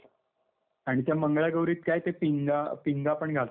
आणि त्या मंगळागौरीत काय ते पिंगा, पिंगा पण घालतात का, पिंगा.